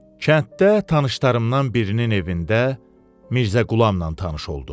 Kənddə tanışlarımdan birinin evində Mirzəqulamla tanış oldum.